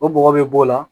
O bɔgɔ bɛ b'o la